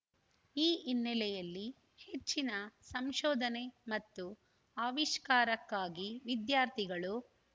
ಈ ಹಿನ್ನೆಲೆಯಲ್ಲಿ ಹೆಚ್ಚಿನ ಸಂಶೋಧನೆ ಮತ್ತು ಆವಿಷ್ಕಾರಕ್ಕಾಗಿ ವಿದ್ಯಾರ್ಥಿಗಳು